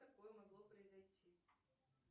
такое могло произойти